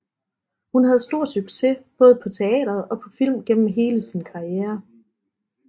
Hun havde stor succes både på teateret og på film gennem hele sin sin karriere